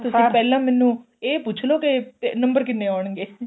ਤੁਸੀਂ ਪਹਿਲਾਂ ਮੈਂਨੂੰ ਇਹ ਪੁੱਛ ਲੋ ਕੇ ਨੰਬਰ ਕਿੰਨੇ ਆਉਣਗੇ